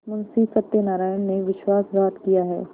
मुंशी सत्यनारायण ने विश्वासघात किया है